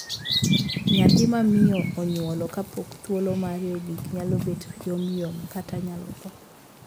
Nyathi ma miyo onyuolo kapok thuolo mare ogik nyalo bet yomyom, kata nyalo thoo.